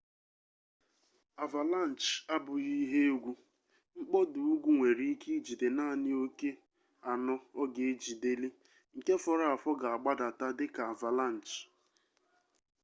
avalanche abụghị ihe egwu mkpọda ugwu nwere ike ijide naanị oke sno ọ ga-ejideli nke fọrọ afọ ga-agbadata dị ka avalanche